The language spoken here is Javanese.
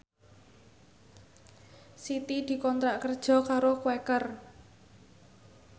Siti dikontrak kerja karo Quaker